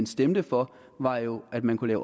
stemte for var jo at man kunne